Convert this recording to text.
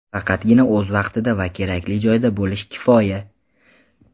Faqatgina o‘z vaqtida va kerakli joyda bo‘lish kifoya.